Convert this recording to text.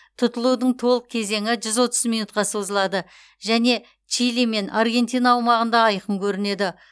тұтылудың толық кезеңі жүз отыз минутқа созылады және чили мен аргентина аумағында айқын көрінеді